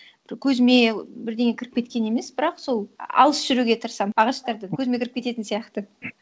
көзіме бірдеңе кіріп кеткен емес бірақ сол алыс жүруге тырысамын ағаштардан көзіме кіріп кететін сияқты